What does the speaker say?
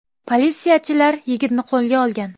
Politsiyachilar yigitni qo‘lga olgan.